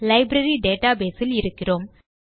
library database இல் இருக்கிறோம்